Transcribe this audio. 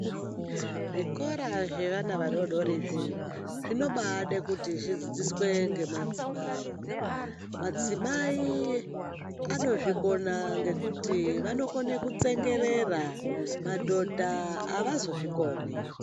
Zvikora zveana adodori izvi, zvinobaade kuti zvidzidziswe ngemadzimai. Madzimai anozvikona ngekuti vanokone kutsengerera. Madhodha avazozvikoni.